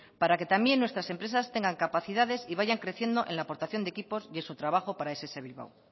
para que también nuestras empresas tengan capacidades y vayan creciendo en la aportación de equipos y en su trabajo para ess bilbao